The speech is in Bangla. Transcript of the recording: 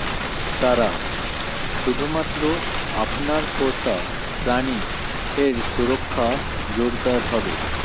তারা শুধুমাত্র আপনার পোষা প্রাণী এর সুরক্ষা জোরদার হবে